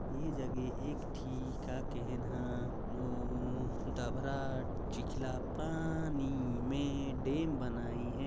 ये जगह ठी का कहेन ह नो डबरा चिखला पानी मे डैम बनाइन--